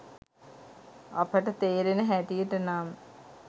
අපට තේරෙන හැටියට නම්